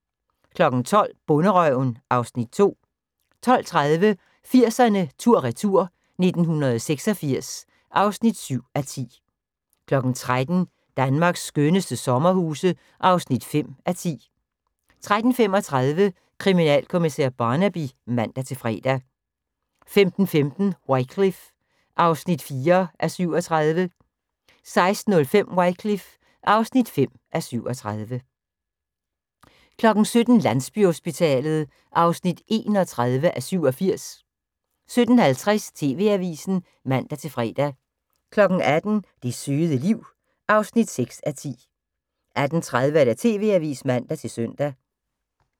12:00: Bonderøven (Afs. 2) 12:30: 80'erne tur/retur: 1986 (7:10) 13:00: Danmarks skønneste sommerhus (5:10) 13:35: Kriminalkommissær Barnaby (man-fre) 15:15: Wycliffe (4:37) 16:05: Wycliffe (5:37) 17:00: Landsbyhospitalet (31:87) 17:50: TV-avisen (man-fre) 18:00: Det søde liv (6:10) 18:30: TV-avisen (man-søn)